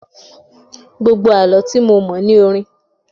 Gbogbo Àlọ́ tí mo mọ̀ ní orin.